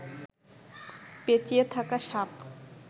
পেঁচিয়ে থাকা সাপ